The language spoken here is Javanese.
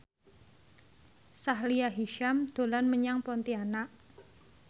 Sahila Hisyam dolan menyang Pontianak